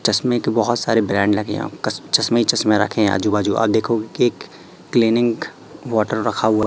चश्मे के बहोत सारे ब्रांड लगे आप चश्मे ही चश्मे रखे हैं आजू बाजू आप देखोगे की क्लीनिंग वाटर रखा हुआ --